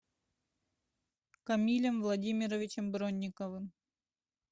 камилем владимировичем бронниковым